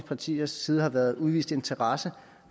partiers side har været udvist interesse